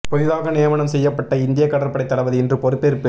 புதிதாக நியமனம் செய்யப்பட்ட இந்திய கடற்படை தளபதி இன்று பொறுப்பேற்பு